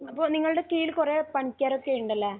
അപ്പോൾ നിങ്ങളുടെ കീഴിൽ കുറെ പണിക്കാരൊക്കെ ഉണ്ടല്ലേ?